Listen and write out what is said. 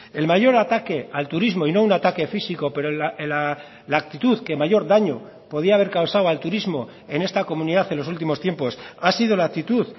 el mayor ataque al turismo y no un ataque físico pero en la actitud que mayor daño podía haber causado al turismo en esta comunidad en los últimos tiempos ha sido la actitud